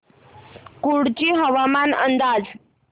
कुडची हवामान अंदाज